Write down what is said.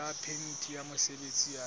ya phemiti ya mosebetsi ya